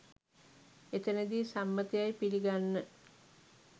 එතැනදී සම්මත යැයි පිළිගන්න